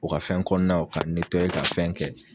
U ka fɛn kɔnɔnaw ka ka fɛn kɛ.